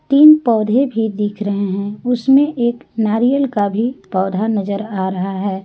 तीन पौधे भी दिख रहे हैं उसमें एक नारियल का भी पौधा नजर आ रहा है।